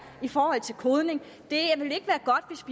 i forhold til kodning det